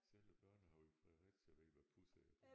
Selv børnene oppe i Fredericia ved hvad pusser er